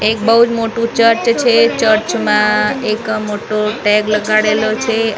એક બહુ જ મોટું ચર્ચ છે. ચર્ચ માં એક મોટો ટૅગ લગાડેલો છે અને ચર્ચ --